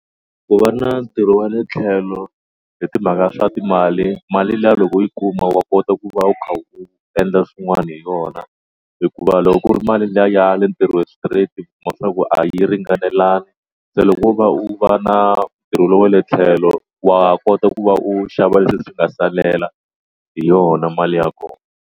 Ku va na ntirho wa le tlhelo hi timhaka swa timali mali liya loko yi kuma wa kota ku va u kha u endla swin'wana hi yona hikuva loko ku ri mali liya ya le ntirhweni straight wa tiva ku a yi ringanelangi se loko u va u va na ntirho lowu wa le tlhelo wa kota ku va u xava leswi nga salela hi yona mali ya kona.